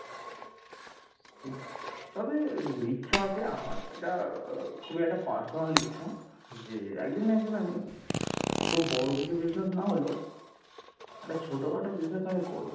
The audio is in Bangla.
তবে ইচ্ছা আছে আমার এটা খুবই একটা personal ইচ্ছা, যে একদিন না একদিন আমি খুব বড় কিছু business না হলেও একটা ছোটখাটো business আমি করবো।